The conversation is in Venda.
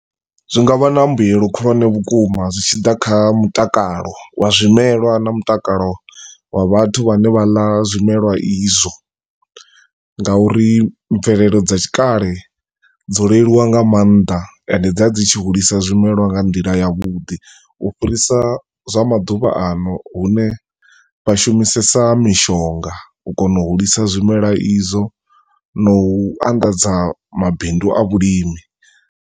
Zwinga vha na mbuyelo khulwane vhukuma zwi tshi ḓa kha mutakalo wa zwimelwa na kha mutakalo wa vhathu vha ne vha ḽa zwimelwa izwo, ngauri mvelelo dza tshikale, dzo leluwa nga maanḓa ende dza dzi tshi hulisa zwimelwa nga ndila ya vhudi, u fhirisa zwa maḓuvha ano hune vha shumisesa mishonga u kona u hulisa zwimelwa izwo na u andadza mabindu a vhulimi.